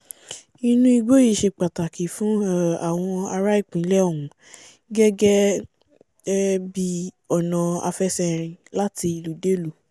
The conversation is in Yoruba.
inú igbó yìí ṣẹ pàtàkì fún um àwọn ará ìpínlẹ̀ òhún gẹ́gẹ́ um bí ọ̀nà àfẹsẹ̀rìn láti ìlúdélùú